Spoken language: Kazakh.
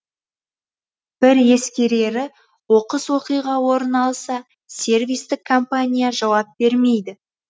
бір ескерері оқыс оқиға орын алса сервистік компания жауап бермейді